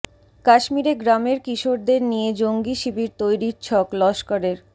কাশ্মীরে গ্রামের কিশোরদের নিয়ে জঙ্গি শিবির তৈরির ছক লস্করের